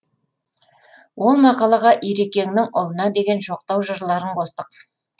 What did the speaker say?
ол мақалаға ирекеңнің ұлына деген жоқтау жырларын қостық